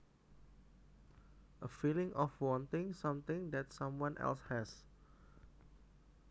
A feeling of wanting something that someone else has